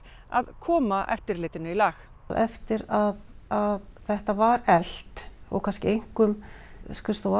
að koma eftirlitinu í lag eftir að að þetta var eflt og kannski einkum skrifstofa